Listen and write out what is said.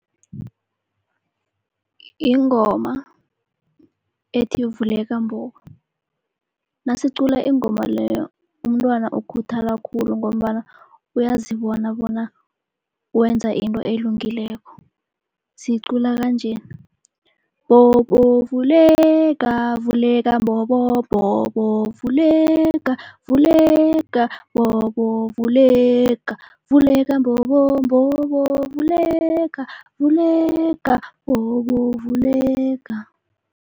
Ingoma ethi, vuleka mbobo nasicula ingoma leyo umntwana ukhuthala khulu ngombana uyazibona bona wenza into elungileko. Siyicula kanjena, mbobo vuleka, vuleka mbobo, mbobo vuleka, vuleka mbobo vuleka, vuleka mbobo, mbobo vuleka vuleka, mbobo vuleka.